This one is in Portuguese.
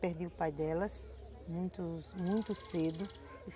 Perdi o pai delas muito, muito cedo.